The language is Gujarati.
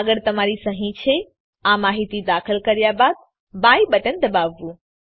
આગળ તમારી સહી છે આ માહિતી દાખલ કર્યા બાદ બાય બટન દબાવવું